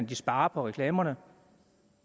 de sparer på reklamerne